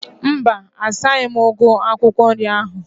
Mba, asaghi m ugu akwụkwọ nri ahu